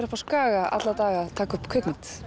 uppi á Skaga alla daga að taka upp kvikmynd